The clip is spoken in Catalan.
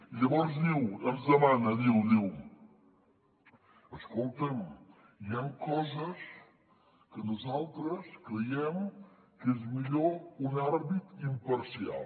i llavors ens demana diu escolta’m hi han coses en què nosaltres creiem que és millor un àrbitre imparcial